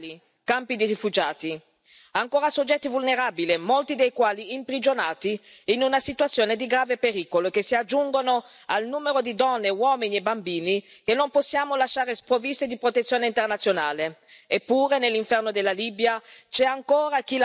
Sono stati presi come bersaglio scuole, ospedali, campi di rifugiati, ancora soggetti vulnerabili, molti dei quali imprigionati in una situazione di grave pericolo, che si aggiungono al numero di donne, uomini e bambini che non possiamo lasciare sprovvisti di protezione internazionale.